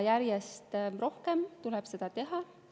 Järjest rohkem tuleb seda teha.